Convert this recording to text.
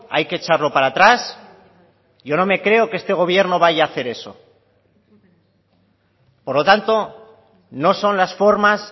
hay que echarlo para atrás yo no me creo que este gobierno vaya a hacer eso por lo tanto no son las formas